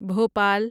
Bhopal